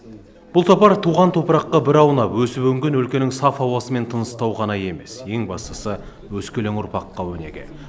бұл сапар туған топыраққа бір аунап өсіп өнген өлкенің саф ауасымен тыныстау ғана емес ең бастысы өскелең ұрпаққа өнеге